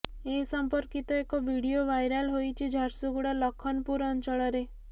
ଏ ସଂପର୍କିତ ଏକ video viral ହୋଇଛି ଝାରସୁଗୁଡା ଲଖନପୁର ଅଞ୍ଚଳରେ